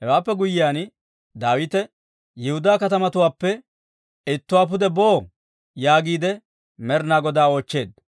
Hewaappe guyyiyaan Daawite, «Yihudaa katamatuwaappe ittuwaa pude boo?» yaagiide Med'inaa Godaa oochcheedda.